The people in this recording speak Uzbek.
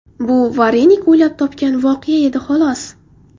Bu Varenik o‘ylab topgan voqea edi, xolos.